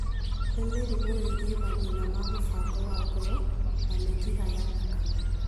Nĩ mĩrimũ ĩgiĩ mathĩna ma mũbango wa ngoro na mĩkiha ya thakame.